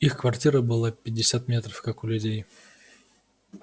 их квартира была пятьдесят метров как у людей